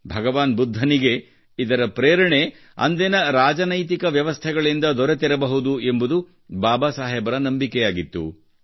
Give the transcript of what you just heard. ಭಗವಾನ್ ಬುದ್ಧನಿಗೆ ಇದರ ಪ್ರೇರಣೆ ಅಂದಿನ ರಾಜನೈತಿಕ ವ್ಯವಸ್ಥೆಗಳಿಂದ ದೊರೆತಿರಬಹುದು ಎಂಬುದು ಬಾಬಾಸಾಹೇಬರ ನಂಬಿಕೆಯಾಗಿತ್ತು